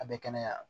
A bɛ kɛnɛya